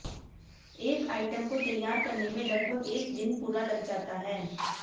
एक आइटम को तैयार करने में लगभग एक दिन पूरा लग जाता है